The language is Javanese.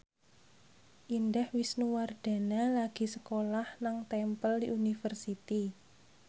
Indah Wisnuwardana lagi sekolah nang Temple University